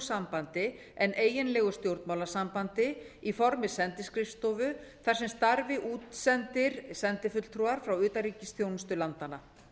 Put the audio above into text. sambandi en eiginlegu stjórnmálasambandi í formi sendiskrifstofu þar sem starfi útsendir sendifulltrúar frá utanríkisþjónustu landanna